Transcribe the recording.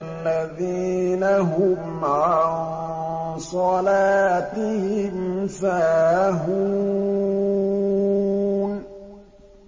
الَّذِينَ هُمْ عَن صَلَاتِهِمْ سَاهُونَ